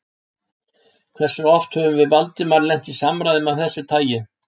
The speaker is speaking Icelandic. Hversu oft höfðum við Valdimar lent í samræðum af þessu tagi?